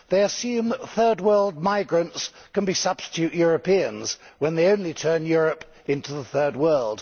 They assume third world migrants can be substitute Europeans, when they only turn Europe into the third world.